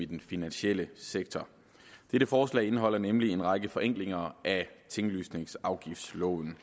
den finansielle sektor dette forslag indeholder nemlig en række forenklinger af tinglysningsafgiftsloven